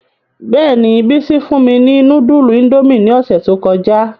Bẹ́ẹ̀ni, Bisi fun mi ni nudulu Indomie ni ọsẹ to kọja.